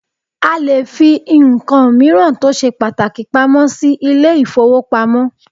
A lè fí nǹkan míràn tó ṣe pàtàkì pamọ́ sí ilé ìfọwọ́pamo.